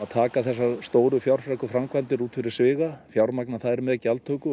taka þessar stóru fjárfreku framkvæmdir út fyrir sviga fjármagna þær með gjaldtöku